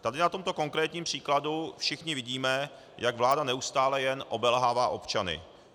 Tady na tomto konkrétním příkladu všichni vidíme, jak vláda neustále jen obelhává občany.